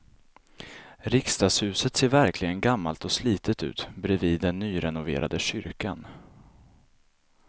Riksdagshuset ser verkligen gammalt och slitet ut bredvid den nyrenoverade kyrkan.